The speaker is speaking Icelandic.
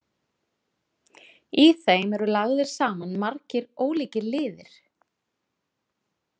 Í þeim eru lagðir saman margir ólíkir liðir.